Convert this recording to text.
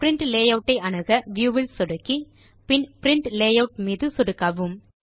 print layout ஐ அணுக view ல் சொடுக்கி பின் பிரின்ட் லேயூட் மீது சொடுக்கவும்